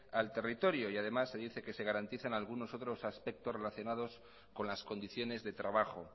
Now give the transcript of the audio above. al territorio y además se dice que se garantizan algunos otros aspectos relacionados con las condiciones de trabajo